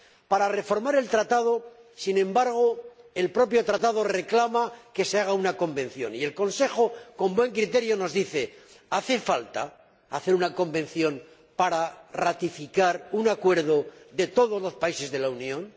Para reformar el Tratado, sin embargo, el propio Tratado reclama que se haga una Convención y el Consejo, con buen criterio, nos dice ¿Hace falta organizar una Convención para ratificar un acuerdo de todos los países de la Unión?